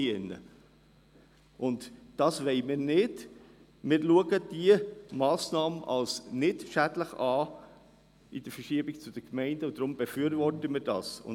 Das wollen wir aber nicht, denn aus unserer Sicht ist diese Massnahme nicht schädlich, deshalb befürworten wir sie.